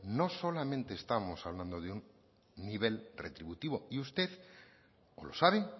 no solamente estamos hablando de un nivel retributivo y usted o lo sabe